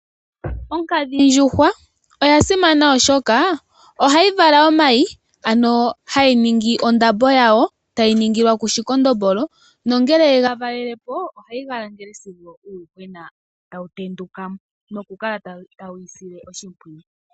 Onkadhindjuhwa oya simana oshoka ohayi vala omayi ano hayi ningi ondambo yawo tayi ningilwa ku shikondombolo nongele ye ga valele po ohayi ga langele sigo uuyuhwena tawu tenduka mo nokukala tayi wu sile oshimpwiyu.